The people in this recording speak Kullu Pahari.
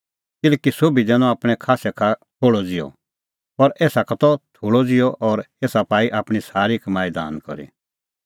किल्हैकि सोभी दैनअ आपणैं खास्सै का थोल़अ ज़िहअ पर एसा का त थोल़अ ज़िहअ और एसा पाई आपणीं सारी कमाई दान करी